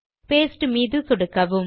paste மீது சொடுக்கவும்